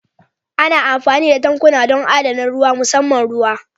Ana amfani da tankuna don adana ruwa musamman ruwa